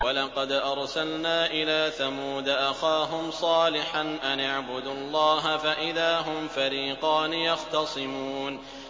وَلَقَدْ أَرْسَلْنَا إِلَىٰ ثَمُودَ أَخَاهُمْ صَالِحًا أَنِ اعْبُدُوا اللَّهَ فَإِذَا هُمْ فَرِيقَانِ يَخْتَصِمُونَ